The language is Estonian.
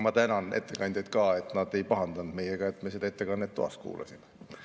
Ma tänan ettekandjaid, et nad ei pahandanud meiega, et me seda ettekannet toas kuulasime.